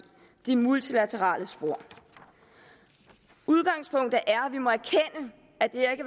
de multilaterale spor udgangspunktet